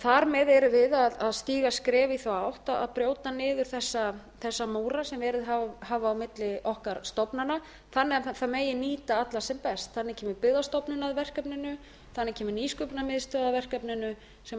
þar með erum við að stíga skref í þá átt að brjóta niður þessa múra sem verið hafa á milli okkar stofnana þannig að það megi nýta alla sem best þarna kemur byggðastofnun að verkefninu þannig kemur nýsköpunarmiðstöð að verkefninu sem